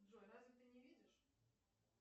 джой разве ты не видишь